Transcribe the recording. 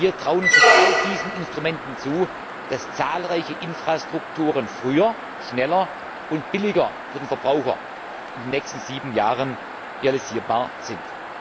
Wir trauen uns mit all diesen Instrumenten zu, dass zahlreiche Infrastrukturen früher, schneller und billiger für den Verbraucher in den nächsten sieben Jahren realisierbar sind.